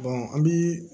an bi